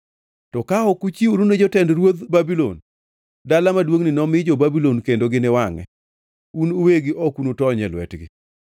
To ka ok ichiwori ne jotend ruodh Babulon, dala maduongʼni nomi jo-Babulon kendo giniwangʼe; un uwegi ok unutony e lwetgi.’ ”